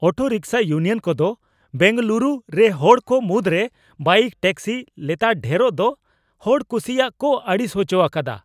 ᱚᱴᱚ rickshaw union ᱠᱚᱫᱚ ᱵᱮᱝᱜᱟᱞᱩᱨᱩ ᱨᱮ ᱦᱚᱲ ᱠᱚ ᱢᱩᱫᱽᱨᱮ ᱵᱟᱭᱤᱠ ᱴᱮᱠᱥᱤ ᱞᱮᱛᱟᱲ ᱰᱷᱮᱨᱚᱜ ᱫᱚ ᱦᱚᱲ ᱠᱩᱥᱤᱭᱟᱜ ᱠᱚ ᱟᱹᱲᱤᱥ ᱦᱚᱪᱚ ᱟᱠᱟᱫᱟ ᱾